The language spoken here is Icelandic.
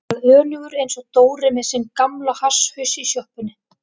Ég varð önugur einsog Dóri með sinn gamla hasshaus í sjoppunni.